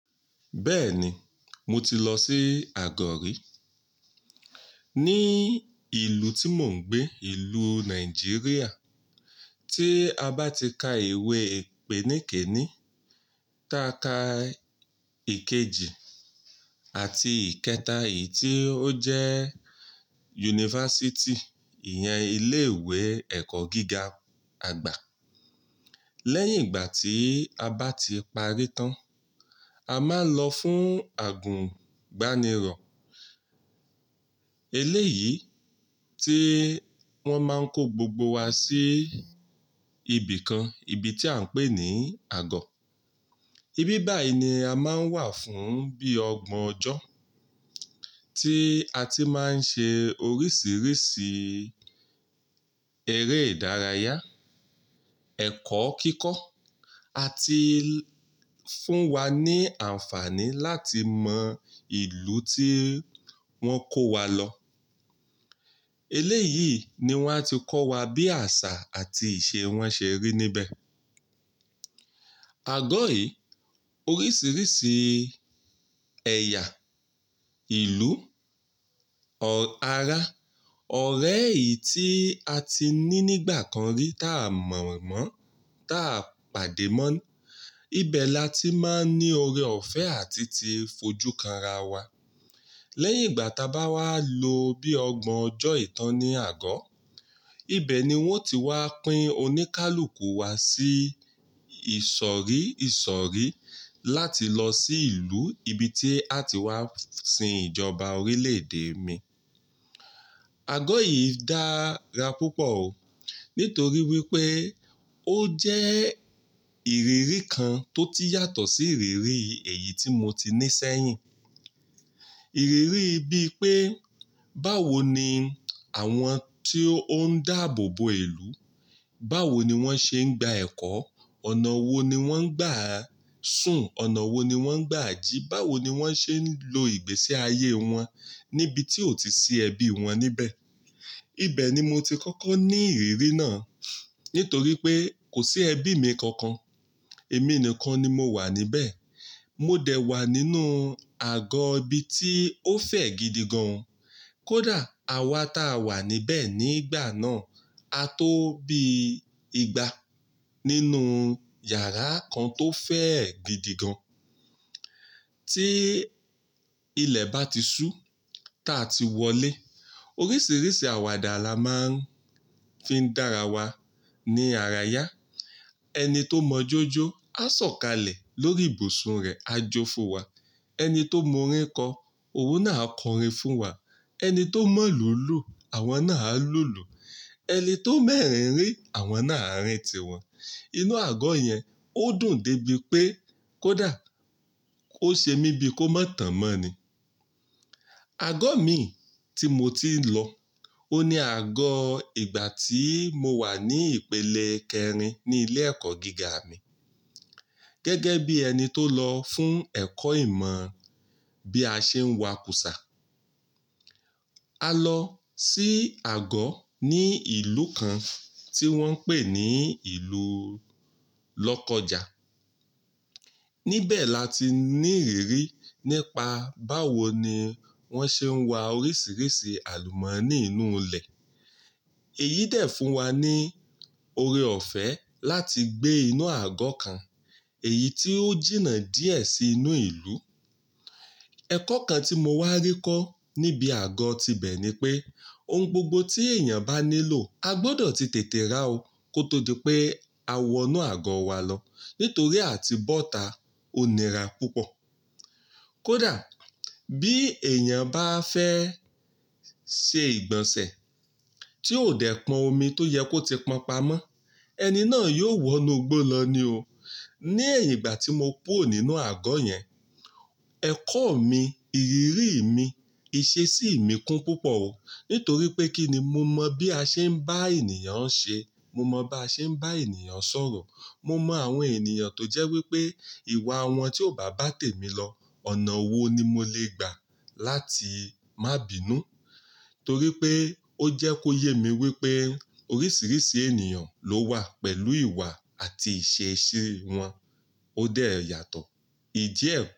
Bẹ́ẹ̀ni, mo ti lọ sí àgọ̀ rí. Ní ìlú tí mò ń gbé, ìlú Nàìjíríà, tí a bá ti ka ìwé ìpèníké ní tàká ìkejì àti ìkẹta yìí tí ó jẹ́ yunifásítì, ìyẹn ilé ìwé ẹ̀kọ́ gíga àgbà. Lẹ́yìn ìgbà tí a bá ti parí tán, a máa ń lọ fún àgùnbánirọ̀. Eléyìí tí wọ́n máa ń kó gbogbo wa sí ibìkan, ibi tí à ń pè ní àgọ́. Ibí báyìí ni a máa ń wà fún bí ọgbọ̀n ọjọ́, tí a ti máa ń ṣe oríṣìíríṣìí eré ìdárayá, ẹ̀kọ́ kíkọ́ àti fún wa ní àǹfààní láti mọ ìlú tí wọ́n kó wa lọ. Eléyìí ni wọ́n ti kọ́ wa bí àṣà àti ìṣe wọn ṣe rí níbẹ̀. Àgọ́ yìí, oríṣìíríṣìí ẹ̀yà ìlú, ara, ọ̀rẹ́ yìí tí a ti ní nígbà kan rí táa mọ̀ mọ́, táa pàdé mọ́ ni. Ibẹ̀ la ti máa ń ní oore ọ̀fẹ́ àti ti fojú kanra wa. Lẹ́yìn ìgbà táa bá wá lo bí ọgbọ̀n ọjọ́ ìtán ní àgọ́, ibẹ̀ ni wọ́n ti wá pín oníkálùkù wa sí ìsọ̀rí ìsọ̀rí láti lọ sí ìlú ibi tí a ti wá sin ìjọba orílè èdè mi. Àgọ́ yìí dára púpọ̀ o. Nítorí wípé ó jẹ́ ìrírí kan tó ti yàtọ̀ sí ìrírí èyí tí mo ti ní sẹ́yìn. Ìrírí bíi pé báwo ni àwọn tí ó ń dáàbò bo ìlú, báwo ni wọ́n ṣe ń gba ẹ̀kọ́, ọ̀nà wo ni wọ́n ń gbà sùn, ọ̀nà wo ni wọ́n ń gbà jí, báwo ni wọ́n ṣe ń lo ìgbésí ayé wọn níbi tí ó ti sí ẹbí wọn níbẹ̀. Ibẹ̀ ni mo ti kọ́kọ́ ní ìrírí náà. Nítorí pé kò sí ẹbí mi kankan. Èmi nìkan ni mo wà níbẹ̀. Mo dẹ̀ wà nínú àgọ́ ibi tí ó fẹ̀ gidi gan. Kódà àwa ta wà níbẹ̀ nígbà náà, a tó bí igba nínú yàrá kan tó fẹ̀ gidi gan. Tí ilẹ̀ bá ti sú ta ti wọlé. Oríṣìíríṣìí àwàdà la máa ń fi dára wa ní àrayá. Ẹni tó mọ jójó a sọ̀kalẹ̀ lórí ibùsùn rẹ̀, a jó fún wa. Ẹni tó mọ orin kọ, òun náà a kọ orin fún wa. Ẹni tó mọ̀ ló lù, àwọn náà á lùlù. Ẹni tó mọ ẹrin rí, àwọn náà a rín ti wọn. Inú àgọ́ yẹn ó dùn dé bi pé kó dà, kó ṣe mi bíi kó mọ̀ tán mọ́ ni. Àgọ́ mi tí mo ti ń lọ, ó ní àgọ́ ìgbà tí mo wà ní ìpele kẹrin ní ilé ẹ̀kọ́ gíga mi. Gẹ́gẹ́ bí ẹni tó lọ fún ẹ̀kọ́ ìmọ̀ bí a ṣe ń wa kúsá. A lọ sí àgọ́ ní ìlú kan tí wọ́n ń pè ní ìlú Lọ́kọ́ja. Níbẹ̀ la ti ní ìrírí nípa báwo ni wọ́n ṣe ń wa oríṣìíríṣìí àlùmọ́nì inú ilẹ̀. Èyí dẹ̀ fún wa ní oore ọ̀fẹ́ láti gbé inú àgọ́ kan, èyí tí ó jìnnà díẹ̀ sí inú ìlú. Ẹ̀kọ́ kan tí mo wá rí kọ́ níbi àgọ́ ti bẹ̀ ni pé ohun gbogbo tí èèyàn bá nílò, a gbọdọ̀ ti tètè rà ó kó tó di pé a wọ inú àgọ́ wa lọ. Nítorí a ti bọ́ta onira púpọ̀. Kódà bí èèyàn bá fẹ́ ṣe ìgbọ̀nsẹ̀ tí ó dẹ̀ pọn omi tó yẹ kó ti pọnpamọ́, ẹni náà yóò wọ inú igbó lọ ní o. Ní ẹ̀yìn ìgbà tí mo kúrò nínú àgọ́ yẹn, ẹ̀kọ́ mi, ìrírí mi, ìṣe sí mi kún púpọ̀ o. Nítorí pé kí ni mo mọ̀ bí a ṣe ń bá ènìyàn ṣe, mo mọ̀ bá ṣe ń bá ènìyàn sọ̀rọ̀, mo mọ àwọn ènìyàn tó jẹ́ wípé ìwà wọn tí ò bá bà tèmi lọ, ọ̀nà wo ni mo le gbà láti má bìnú. Torí pé ó jẹ́ kó yé mi wípé oríṣìíríṣìí ènìyàn ló wà pẹ̀lú ìwà àti ìṣesí wọn ó dẹ̀ yàtọ̀. Ìjẹ́ ẹ̀kọ́.